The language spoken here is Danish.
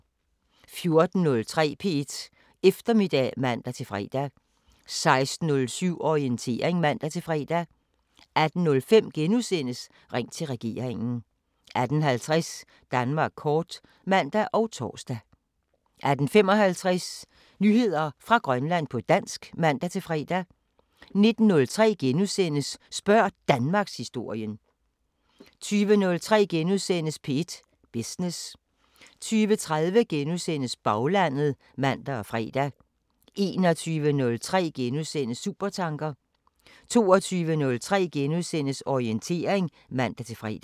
14:03: P1 Eftermiddag (man-fre) 16:07: Orientering (man-fre) 18:05: Ring til regeringen * 18:50: Danmark kort (man og tor) 18:55: Nyheder fra Grønland på dansk (man-fre) 19:03: Spørg Danmarkshistorien * 20:03: P1 Business * 20:30: Baglandet *(man og fre) 21:03: Supertanker * 22:03: Orientering *(man-fre)